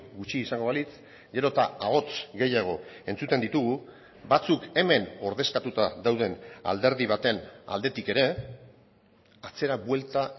gutxi izango balitz gero eta ahots gehiago entzuten ditugu batzuk hemen ordezkatuta dauden alderdi baten aldetik ere atzera buelta